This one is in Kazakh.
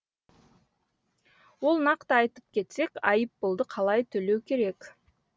ол нақты айтып кетсек айыппұлды қалай төлеу керек